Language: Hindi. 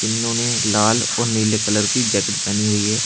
इन्होनें लाल और नीले कलर की जैकेट पहनी हुई है।